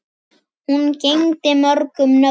Hún gegndi mörgum nöfnum.